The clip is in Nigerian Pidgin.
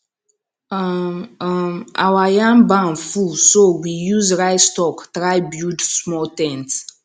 um um our yam barn full so we use rice stalk try build small ten t